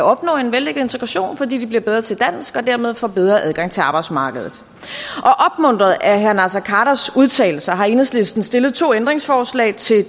opnå en vellykket integration fordi de bliver bedre til dansk og dermed får bedre adgang til arbejdsmarkedet opmuntret af herre naser khaders udtalelser har enhedslisten stillet to ændringsforslag til